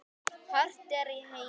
hart er í heimi